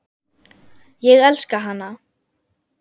Ég elska hana.